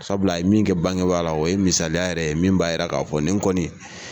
Sabula a ye min kɛ bangebaa la o ye misaliya yɛrɛ ye min b'a yira k'a fɔ nin kɔni.